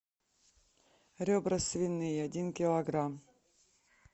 ребра свиные один килограмм